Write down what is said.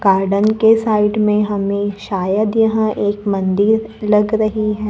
Garden के side में हमें शायद यहां एक मंदिर लग रही है।